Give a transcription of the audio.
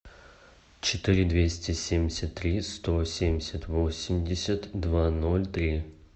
четыре двести семьдесят три сто семьдесят восемьдесят два ноль три